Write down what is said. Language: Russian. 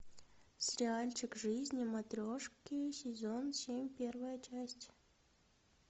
сериальчик жизни матрешки сезон семь первая часть